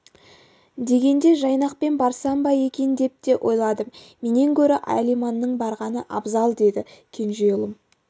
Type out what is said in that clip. дегенде жайнақпен барсам ба екен деп те ойладым менен гөрі алиманның барғаны абзал деді кенже ұлым